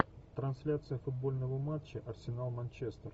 трансляция футбольного матча арсенал манчестер